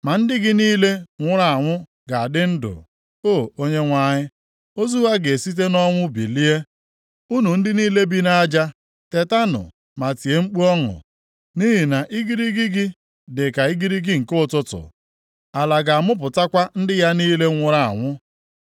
Ma ndị gị niile nwụrụ anwụ ga-adị ndụ, O Onyenwe anyị. Ozu ha ga-esite nʼọnwụ bilie. Unu ndị niile bi nʼaja tetanụ ma tie mkpu ọṅụ. Nʼihi na igirigi gị dị ka igirigi nke ụtụtụ, ala ga-amụpụtakwa ndị ya niile nwụrụ anwụ.